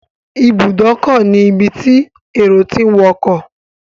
Ibùdókọ̀ ni ibi tí èrò tí ń wọkọ̀.